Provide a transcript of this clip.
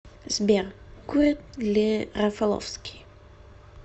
сбер курит ли рафаловский